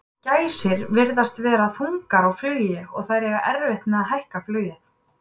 Gæsir virðast vera þungar á flugi og þær eiga erfitt með að hækka flugið.